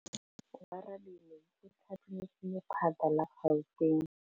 Oarabile o thapilwe ke lephata la Gauteng.